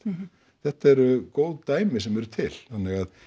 þetta eru góð dæmi sem eru til þannig að